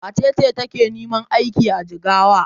Wace ce take neman aiki a Jigawa?